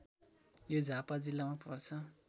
यो झापा जिल्लामा पर्छ